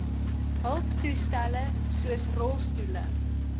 hulptoestelle soos rolstoele